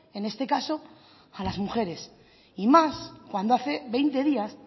en este caso a las mujeres y más cuando hace veinte días